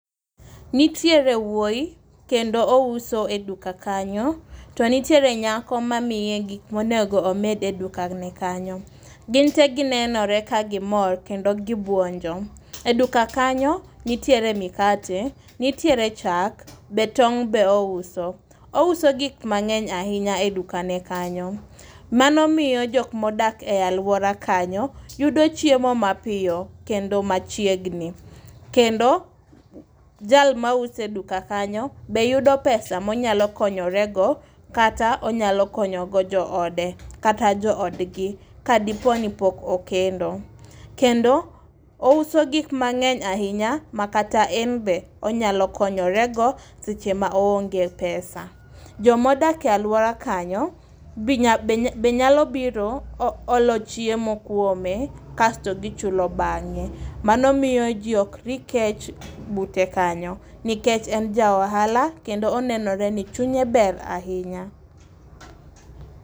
Nitiere wuoyi kendo ouso e duka kanyo. To nitiere nyako ma miye gik monego omed e dukane kanyo. Gin te ginenore ka gimor kendo gibuonjo. Eduka kanyo nitiere mikate, nitiere chak , be tong' be ouso. Ouso gik mang'eny ahinya e dukane kanyo. Mano miyo jok ma dak e aluora kanyo yudo chiemo mapiyo kendo machiegni. Kendo jal maúso e duka kanyo be yudo pesa ma be nyalo konyorego kata joodgi kadipo nipok okendo. Kendo ouso gik mang'eny ahinya makata en be onyalo konyorego seche ma oonge pesa. Joma odak e aluora kanyo be nyalo biro olo chiemo kuome kasto gichulo bang'e mano miyo ji ok ri kech bute kanyo nikech en ja ohala kendo onenore ni chunye ber ahinya.